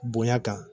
Bonya kan